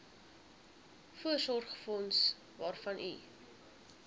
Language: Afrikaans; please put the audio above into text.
voorsorgsfonds waarvan u